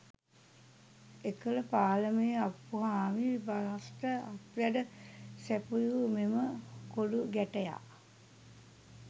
එකල පාලමේ අප්පුහාමි බාස්ට අත්වැඩ සැපයූ මෙම කොලූ ගැටයා